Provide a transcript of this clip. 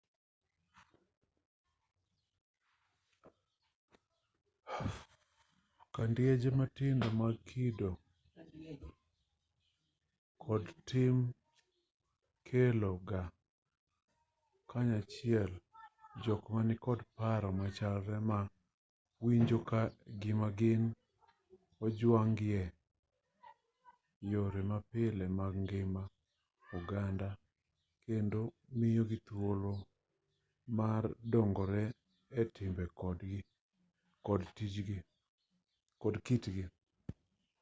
kidienje matindo mag kido kod tim kelo ga kanyachiel jok ma nikod paro machalre ma winjo ka gima gin ojwang' gi e yore mapile mag ngima oganda kendo miyogi thuolo mar dongore e timbe kod kitgi